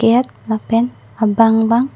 ake et lapen abang bang--